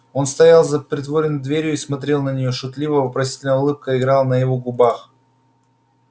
он стоял за притворенной дверью и смотрел на нее шутливо-вопросительная улыбка играла на его губах